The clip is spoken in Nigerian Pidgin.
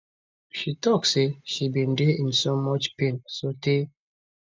she tok say she bin dey in soo much pain sotay